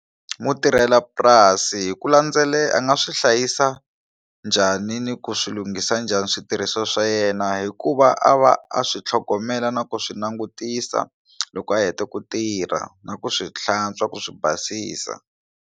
Mutirhelapurasi hi ku landzelela a nga swi hlayisa njhani ni ku swilunghisa njhani switirhisiwa swa yena hikuva a va a swi tlhogomela na ku swi langutisa loko a heta ku tirha na ku swi hlantswa ku swi basisa.